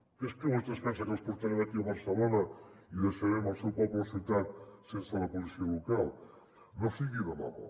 que és que vostè es pensa que els portarem aquí a barcelona i deixarem el seu poble o ciutat sense la policia local no sigui demagog